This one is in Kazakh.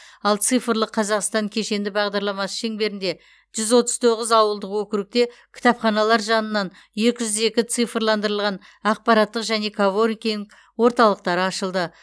ал цифрлық қазақстан кешенді бағдарламасы шеңберінде жүз отыз тоғыз ауылдық округте кітапханалар жанынан екі жүз екі цифрландырылған ақпараттық және коворкинг орталықтары ашылды